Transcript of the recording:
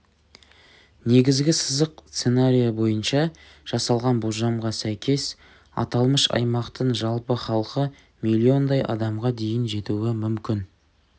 негізгі сызық сценарийі бойынша жасалған болжамға сәйкес аталмыш аймақтың жалпы халқы миллиондай адамға дейін жетуі мүмкін